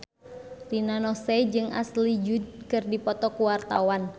Rina Nose jeung Ashley Judd keur dipoto ku wartawan